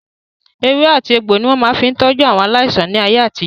Ewé àti egbò ni wọ́n máa fi ń tọ́jú aláìsàn ní ayé àtijó.